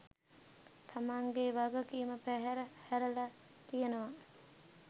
තමන්ගේ වගකීම පැහැර හැරල තියනව